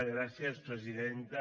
gràcies presidenta